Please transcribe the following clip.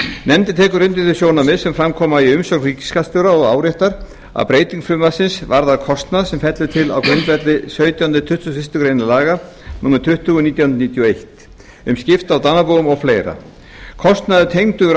nefndin tekur undir þau sjónarmið sem fram koma í umsögn ríkisskattstjóra og áréttar að breyting frumvarpsins varðar kostnað sem fellur til á grundvelli sautjánda til tuttugasta og fyrstu grein laga númer tuttugu nítján hundruð níutíu og eitt um skipti á dánarbúum og fleiri kostnaður tengdur